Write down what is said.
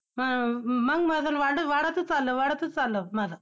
हा मंग वजन वाढ~ त ~ वाढतच वाढतच चाललं माझं.